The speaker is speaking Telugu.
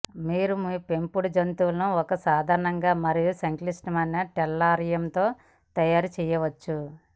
మీరు మీ పెంపుడు జంతువును ఒక సాధారణ మరియు సంక్లిష్ట టెల్లారియంతో తయారు చేయవచ్చు